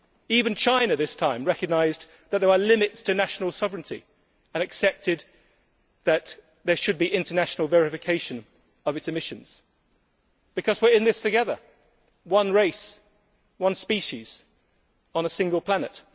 Even China, this time, recognised that there are limits to national sovereignty and accepted that there should be international verification of its emissions because we are in this together one race, one species on a single planet.